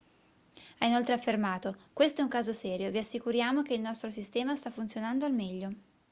ha inoltre affermato questo è un caso serio vi assicuriamo che il nostro sistema sta funzionando al meglio